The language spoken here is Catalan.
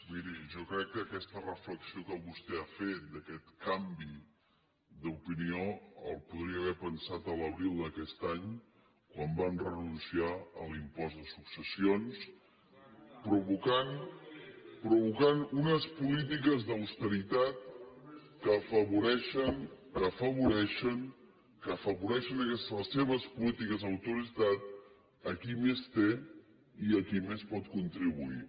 miri jo crec que aquesta reflexió que vostè ha fet d’aquest canvi d’opinió el podria haver pensat a l’abril d’aquest any quan van renunciar a l’impost de successions provocant unes polítiques d’austeritat que afavoreixen que afavoreixen les seves polítiques d’austeritat a qui més té i a qui més pot contribuir